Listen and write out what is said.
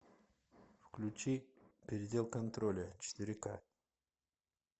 включи предел контроля четыре ка